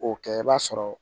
O kɛ i b'a sɔrɔ